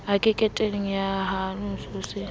a keketehe ha sehwabane se